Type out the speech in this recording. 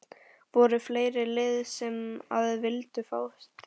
Voru fleiri lið sem að vildu fá þig?